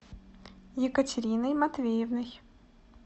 екатериной матвеевной